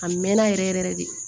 A mɛn na yɛrɛ yɛrɛ yɛrɛ de